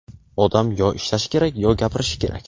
Odam yo ishlashi kerak, yo gapirishi kerak.